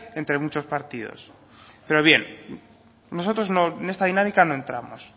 entre muchos partidos pero bien nosotros en esta dinámica no entramos